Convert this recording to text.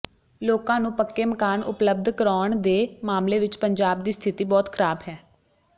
ਲੋਕਾਂ ਨੂੰ ਪੱਕੇ ਮਕਾਨ ਉਪਲਬਧ ਕਰਾਉਣ ਦੇ ਮਾਮਲੇ ਵਿੱਚ ਪੰਜਾਬ ਦੀ ਸਥਿਤੀ ਬਹੁਤ ਖਰਾਬ ਹੈ